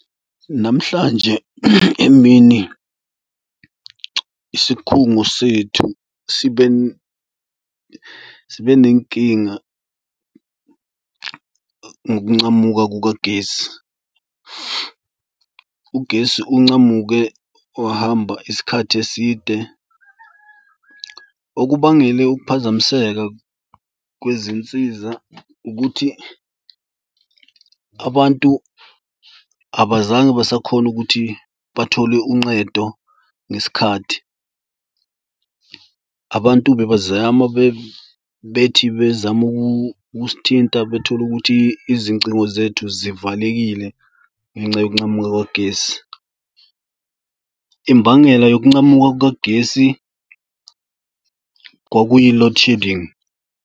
Namhlanje emini isikhungo sethu sibe sibe nenkinga ngokuncamuka kukagesi. Ugesi uncamuke wahamba isikhathi eside. Okubangele ukuphazamiseka kwezinsiza ukuthi abantu abazange basakhona ukuthi bathole unqedo ngesikhathi. Abantu bebazama bethi bezama ukusithinta bethole ukuthi izingcingo zethu zivalekile. Ngenxa yokuncamuka kwagesi, imbangela yokuncamuka kukagesi kwakuyi-load shedding.